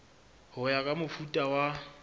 ho ya ka mofuta wa